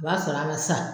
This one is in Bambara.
O b'a sɔrɔ a ma sa